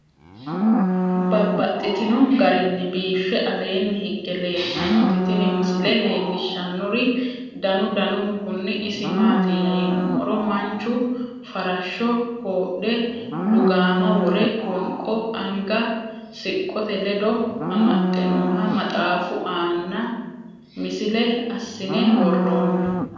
Babaxxittinno garinni biiffe aleenni hige leelittannotti tinni misile lelishshanori danu danunkunni isi maattiya yinummoro manchu farashsho koodhe, lugaamma wore, wonqo anga siqqotte ledo amaxxe nooha maxxaffu aanna misile asiinne woroonni